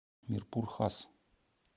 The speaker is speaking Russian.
мирпур хас